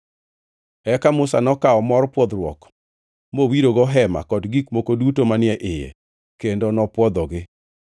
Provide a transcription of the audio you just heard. Eka Musa nokawo mor pwodhruok mowirogo Hema kod gik moko duto manie iye, kendo nopwodhogi.